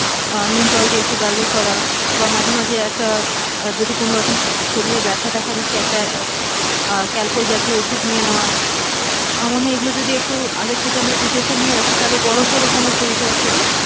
নুন জল দিয়ে একটু gargle করা বা মাঝে মাঝে একটা যদি কোনো রকম শরীরে ব্যাথা দেখা দিচ্ছে একটা আহ calpol জাতীয় ওষুধ নিয়ে নেওয়া, আমার মনে হয় যদি একটু আগের থেকে preparation নিয়ে রাখি তাহলে বড়োসড়ো কোনো শরীর খারাপ থেকে,